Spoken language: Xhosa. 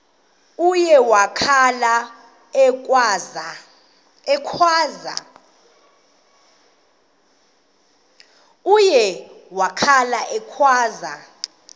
uye wakhala ekhwaza